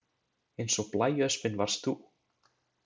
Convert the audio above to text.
Eins og blæöspin varst þú